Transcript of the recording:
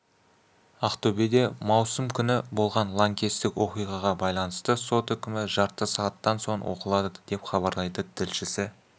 ақтөбеде маусым күні болған лаңкестік оқиғаға байланысты сот үкімі жарты сағаттан соң оқылады деп хабарлайды тілшісі